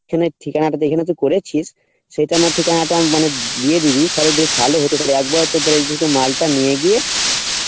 যেখানে ঠিকানা টা যেখানে তুই করেছিস সেখানের ঠিকানা টা মানে দিয়ে দিবি তালে বেশ ভালো হতো তালে একবারে তোর এইদিকে মালটা নিয়ে গিয়ে